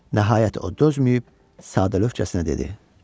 Nəhayət o dözməyib sadəlövrcəsinə dedi: